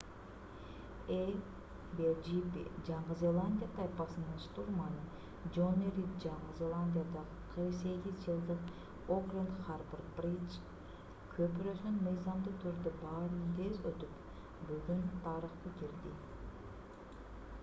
а1gp жаңы зеландия тайпасынын штурманы жонни рид жаңы зеландиядагы 48 жылдык окленд харбор бриж көпүрөсүнөн мыйзамдуу түрдө баарынан тез өтүп бүгүн тарыхка кирди